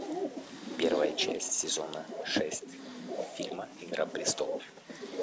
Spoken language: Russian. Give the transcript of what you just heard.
первая часть сезона шесть фильма игра престолов